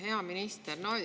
Hea minister!